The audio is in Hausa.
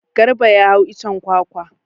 Garba ya hau icen kwakwa.